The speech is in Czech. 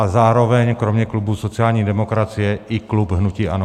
A zároveň kromě klubu sociální demokracie i klub hnutí ANO.